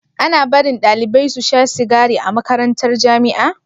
Ana barin ɗalibai susha sigari a makarantar jamia